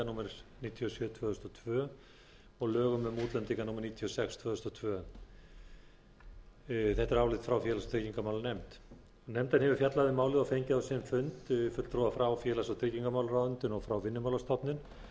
númer níutíu og sjö tvö þúsund og tvö og lögum um útlendinga númer níutíu og sex tvö þúsund og tvö þetta er álit frá félags og tryggingamálanefnd nefndin hefur fjallað um málið og fengið á sinn fund fulltrúa frá félags og tryggingamálaráðuneyti og frá vinnumálastofnun